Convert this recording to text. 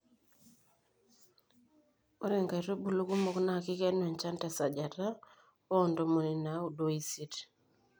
ore inkaitubulu kumok naa kikenu enchan te sajata oo ntomoni naudo oisiet